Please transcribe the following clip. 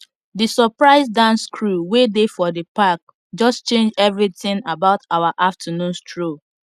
the surprise dance crew wey dey for the park just change everything about our afternoon stroll